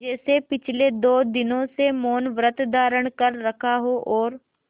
जैसे पिछले दो दिनों से मौनव्रत धारण कर रखा हो और